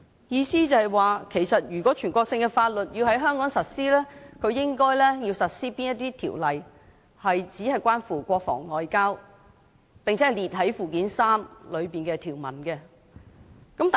意思是，如果全國性的法律要在香港實施，應該實施只關乎國防外交、並載列於附件三的條文內的法律。